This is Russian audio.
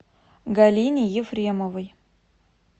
галине ефремовой